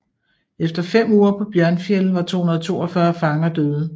Efter fem uger på Bjørnfjell var 242 fanger døde